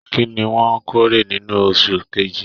Kínní wọn k'ore nínú oṣù kejì?